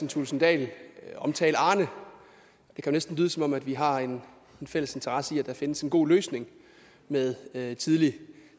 thulesen dahl omtale arne det kan næsten lyde som om vi har en fælles interesse i at der findes en god løsning med med tidlig